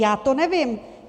Já to nevím.